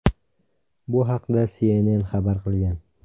Bu haqda CNN xabar qilgan.